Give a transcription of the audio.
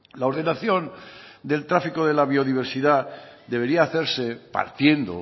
la ordenación del tráfico de la biodiversidad debería hacerse partiendo